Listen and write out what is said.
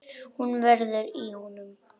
Hún veður í honum.